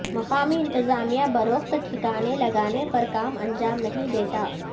مقامی انتظامیہ بروقت ٹھکانے لگانے پر کام انجام نہیں دیتا